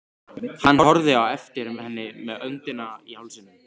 Hann horfði á eftir henni með öndina í hálsinum.